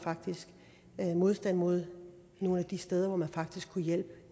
modstand mod nogle af de steder hvor man faktisk kunne hjælpe